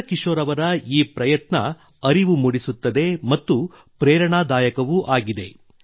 ಚಂದ್ರ ಕಿಶೋರ್ ಅವರ ಈ ಪ್ರಯತ್ನ ಅರಿವು ಮೂಡಿಸುತ್ತದೆ ಮತ್ತು ಪ್ರೇರಣಾದಾಯಕವೂ ಆಗಿದೆ